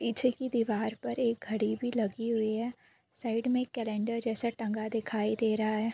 पीछे की दिवार पर एक घड़ी भी लगी हुई है साइड के एक कैलेंडर जैसा टंगा दिखाई दे रहा है।